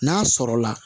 N'a sɔrɔla